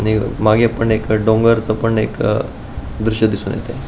देव मागे पण एक डोंगरच पण एक अ द्रुश्य दिसून येते.